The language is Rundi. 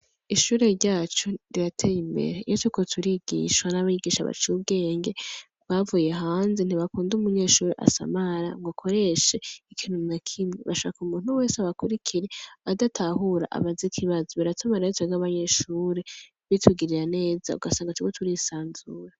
Ishure ryacu rirateye imbere, iyo turiko turigishwa n'abigisha baciye ubwenge bavuye hanze ntibakunda umunyeshure asamara ngo akoreshe ikintu na kimwe bashaka umuntu wese abakurikire adatahura abaze ikibazo, biratuma rero twebwe abanyeshure bitugirira neza ugasanga turiko turisanzura.